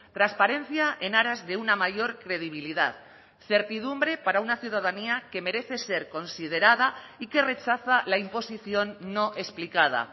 transparencia en aras de una mayor credibilidad certidumbre para una ciudadanía que merece ser considerada y que rechaza la imposición no explicada